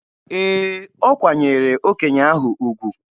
Ee, o kwanyeere okenye ahụ ugwu.